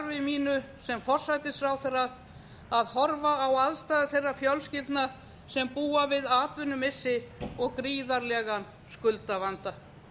af starfi mínu sem forsætisráðherra að horfa á aðstæður þeirra fjölskyldna sem búa við atvinnumissi og gríðarlegan skuldavanda